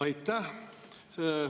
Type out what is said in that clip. Aitäh!